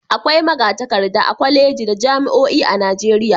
Akwai maga-takarda a kwalejeji da jami'oin a Najeriya.